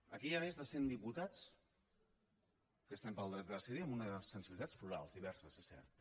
aquí hi ha més de cent diputats que estem pel dret a decidir amb unes sensibilitats plurals diverses és cert